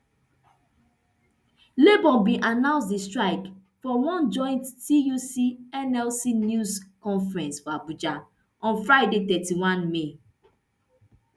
labour bin announce di strike for one joint tuc nlc news conference for abuja on friday thirty-one may